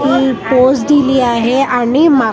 ही pose दिली आहे आणि मा --